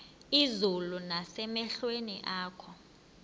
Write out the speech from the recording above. izulu nasemehlweni akho